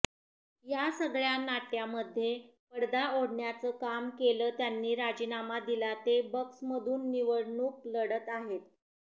या सगळ्या नाट्यामध्ये पडदा ओढण्याचं काम केलं त्यांनी राजीनामा दिला ते बक्समधून निवडणूक लढत आहेत